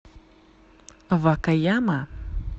вакаяма